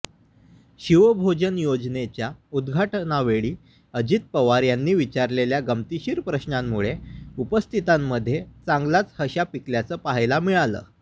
शिवभोजन योजनेच्या उद्घाटनावेळी अजित पवार यांनी विचारलेल्या गमतीशीर प्रश्नांमुळे उपस्थितांमध्ये चांगलाच हशा पिकल्याचं पाहायला मिळालं